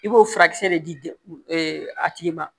I b'o furakisɛ de di a tigi ma